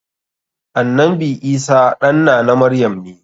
Annanbi Isah ɗan nana maryam ne.